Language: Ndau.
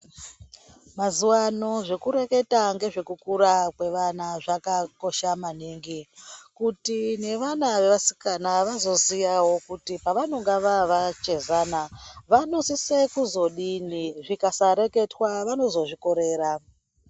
Mazuwano zvekureketa ngezvekukura kwevana zvakakosha maningi, kuti nevana vevasikana vazoziyawo kuti pavanonga vavachezana vanosise kuzodini zvikasa reketwa vanozozvikorera.